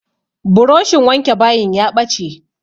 Buroshin wanke bayin ya ɓace.